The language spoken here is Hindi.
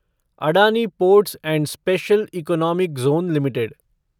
Adani ports and special economic zone limited